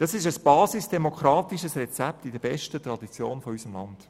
Dieses basisdemokratische Rezept steht in der besten Tradition unseres Landes.